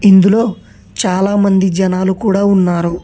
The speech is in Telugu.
ఇందులో చాలామంది జనాలు కూడా ఉన్నారు.